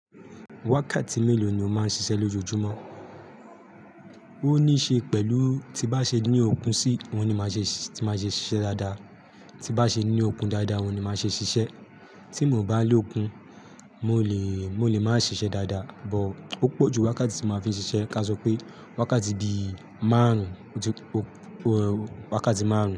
Wákàtí mélòó ni o máa ń ṣiṣẹ́ lójoojúmọ́? Ó ní í ṣe pẹ̀lú tí bá ṣe ní okun sí oun ni máa ṣe, tí máa ṣe ṣiṣẹ́ dáadáa. Tí bá ṣe ní okun dáadáa wọ́n ni máa ṣe ṣiṣẹ́. Tí mo bá lókun, mo lè, mo lè má ṣiṣẹ́ dáadáa. But ó pọ̀ ju wákàtí tí mo máa fi ṣiṣẹ́ ká sọ pé wákàtí bi márùn-ún wákàtí márùn-ún.